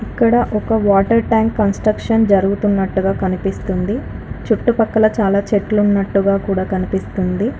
ఇక్కడ ఒక water tank construction జరుగుతున్నట్టుగా కనిపిస్తుంది. చుట్టుపక్కల చాలా చెట్లు ఉన్నట్టు గా కూడా కనిపిస్తుంది.